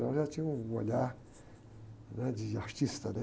Então já tinha um olhar de artista, né?